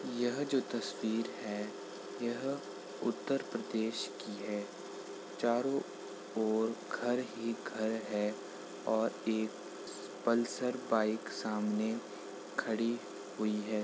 यह जो तस्वीर है यह उत्तर प्रदेश की है| चारो ओर घर ही घर हैं और एक पल्सर बाइक सामने खड़ी हुई है।